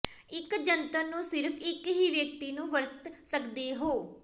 ਇੱਕ ਜੰਤਰ ਨੂੰ ਸਿਰਫ ਇੱਕ ਹੀ ਵਿਅਕਤੀ ਨੂੰ ਵਰਤ ਸਕਦੇ ਹੋ